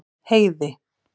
Heiði